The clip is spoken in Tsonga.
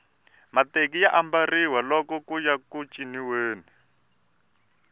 mateki ya ambariwa loko kuya eku ciniweni